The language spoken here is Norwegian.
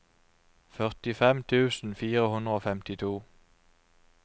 førtifem tusen fire hundre og femtito